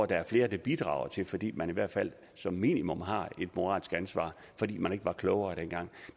der er flere der bidrager til fordi man i hvert fald som minimum har et moralsk ansvar fordi man ikke var klogere dengang